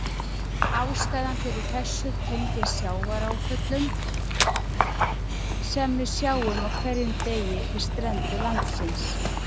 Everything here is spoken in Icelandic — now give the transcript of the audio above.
Ástæðan fyrir þessu tengist sjávarföllunum sem við sjáum á hverjum degi við strendur landsins.